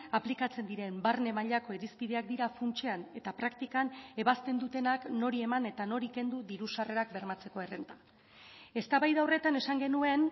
aplikatzen diren barne mailako irizpideak dira funtsean eta praktikan ebazten dutenak nori eman eta nori kendu diru sarrerak bermatzeko errenta eztabaida horretan esan genuen